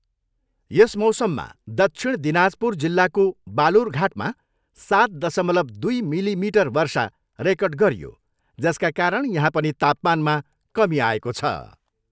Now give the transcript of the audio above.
यस मौसममा दक्षिण दिनाजपुर जिल्लाको बालुरघाटमा सात दशमलव दुई मिलिमिटर वर्षा रेकर्ड गरियो जसका कारण यहाँ पनि तापमानमा कमी आएको छ।